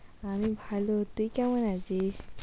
আমি ভালো, তুই কেমন আছিস?